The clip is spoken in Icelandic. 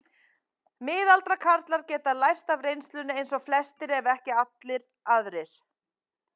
Miðaldra karlar geta lært af reynslunni eins og flestir ef ekki allir aðrir.